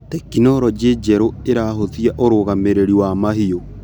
Tekinologĩ njerũ ĩrahũthia ũrũgamĩrĩri wa mahiũ.